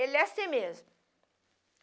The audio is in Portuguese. Ele é assim mesmo.